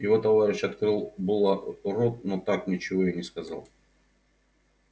его товарищ открыл было рот но так ничего и не сказал